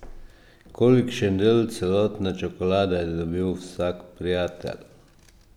Kolikšen del celotne čokolade je dobil vsak prijatelj?